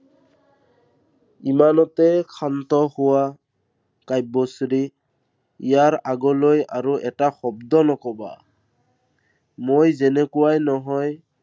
ইনানতে ক্ষান্ত হোৱা। কাব্যশ্ৰী। ইয়াৰ আগলৈ আৰু এটা শব্দ নকবা। মই যেনেকুৱাই নহয়